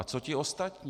A co ty ostatní?